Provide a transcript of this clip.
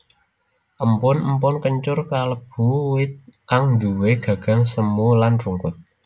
Empon empon kencur kalebu wit kang nduwè gagang semu lan rungkut